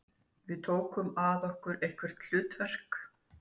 Við tókum að okkur erfitt hlutverk